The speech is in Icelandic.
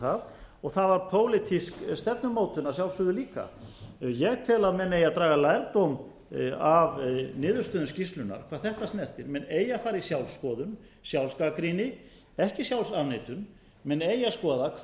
það og það var pólitísk stefnumótun að sjálfsögðu líka ég tel að menn eigi að draga lærdóm af niðurstöðum skýrslunnar hvað þetta snertir menn eigi að fara í sjálfsskoðun sjálfsgagnrýni ekki sjálfsafneitun menn eigi að skoða